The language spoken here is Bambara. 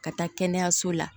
Ka taa kɛnɛyaso la